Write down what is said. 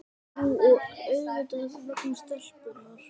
Nú og svo auðvitað vegna stelpunnar.